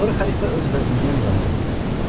Sonra xəlifə öz vəzirinə müraciət elədi.